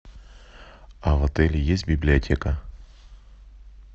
а в отеле есть библиотека